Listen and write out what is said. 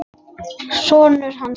Sonur hans!